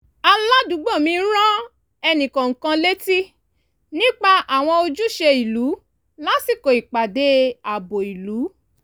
aládùúgbò mi rán ẹnìkọ̀ọ̀kan létí nípa àwọn ojúṣe ìlú lásìkò ìpàdé ààbò ìlú